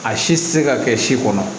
A si tɛ se ka kɛ si kɔnɔ